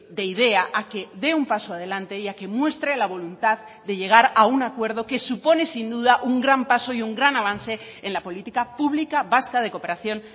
de idea a que dé un paso adelante y a que muestre la voluntad de llegar a un acuerdo que supone sin duda un gran paso y un gran avance en la política pública vasca de cooperación